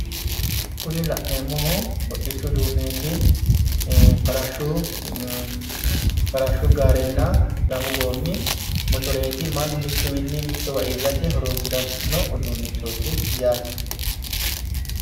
kuni la'neemmohu hodhishu uduu'neeti farashshu gaarenna lamu goommi motoreeti mannu mittuwiinni mittowa iillate horonsiranno uduunnichooti yaate.